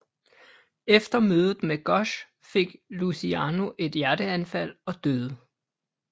Efter mødet med Gosch fik Luciano et hjerteanfald og døde